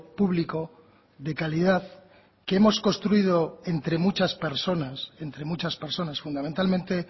público de calidad que hemos construido entre muchas personas entre muchas personas fundamentalmente